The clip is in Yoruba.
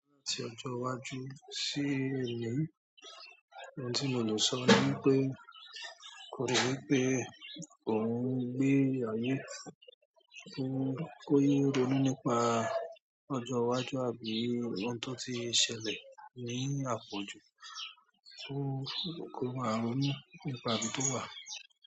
Láti ọjọ́ iwájú sí èní, ohun tí mo lè sọ ni wí pé ko rò wípé òún gbé ayé, ko rò kó yéé ronú nípa ọjọ́ iwájú àbí ohun tó ti ṣẹlẹ̀ ní àpọ̀jù, kó máa ronú nípa ibi tó wà.